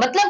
મતલબ